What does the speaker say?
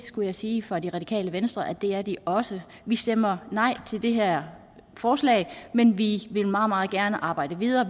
skulle sige fra det radikale venstre at det er de også vi stemmer nej til det her forslag men vi vil meget meget gerne arbejde videre